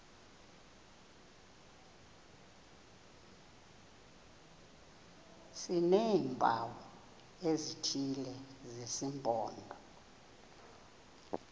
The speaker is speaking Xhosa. sineempawu ezithile zesimpondo